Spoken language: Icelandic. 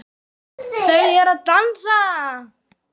Þau eru að dansa